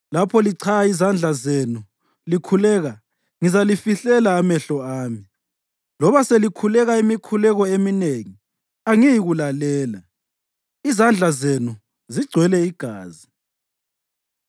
Lapho lichaya izandla zenu likhuleka, ngizalifihlela amehlo ami; loba selikhuleka imikhuleko eminengi, angiyikulalela. Izandla zenu zigcwele igazi!